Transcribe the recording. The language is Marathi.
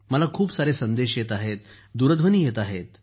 मला खूप सारे संदेश येत आहेत दूरध्वनी येत आहेत